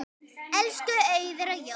Elsku Auður og Jói.